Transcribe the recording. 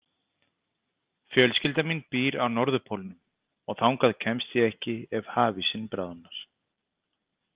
Fjölskylda mín býr á Norðurpólnum og þangað kemst ég ekki ef hafísinn bráðnar.